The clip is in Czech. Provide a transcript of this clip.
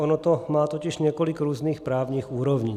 Ono to má totiž několik různých právních úrovní.